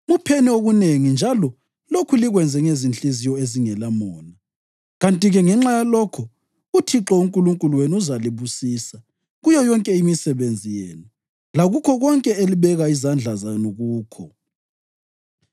Mupheni okunengi njalo lokhu likwenze ngezinhliziyo ezingelamona; kanti-ke ngenxa yalokho uThixo uNkulunkulu wenu uzalibusisa kuyo yonke imisebenzi yenu lakukho konke elibeka izandla zenu kukho.